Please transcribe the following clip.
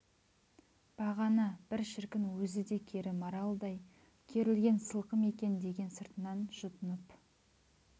бағана бір шіркін өзі де кері маралдай керілген сылқым екен деген сыртынан жұтынып